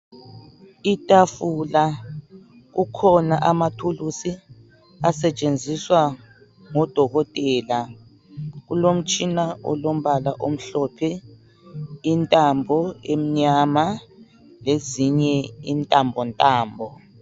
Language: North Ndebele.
itafula kukhona amathulusi asetshenziswa ngudokotela kulomtshina olombala omhlophe intambo emnyama lezinye intambontambo